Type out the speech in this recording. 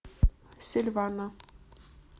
сильвана